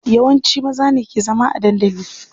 Yawanci maza ne ke zama a dandali.